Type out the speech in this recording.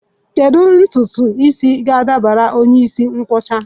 Kedu ntutu isi ga-adabara onye isi nkwọcha?